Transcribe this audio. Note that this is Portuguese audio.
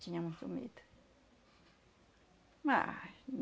Tinha muito medo. Mas...